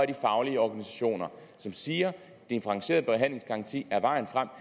de faglige organisationer som siger at differentieret behandlingsgaranti er vejen frem